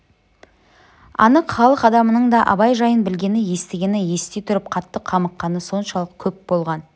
анық халық адамының да абай жайын білгені естігені ести тұрып қатты қамыққаны соншалық көп болған